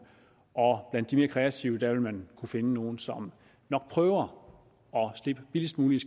og blandt de mere kreative vil man kunne finde nogle som nok prøver at slippe billigst muligt